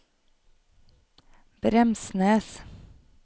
Bremsnes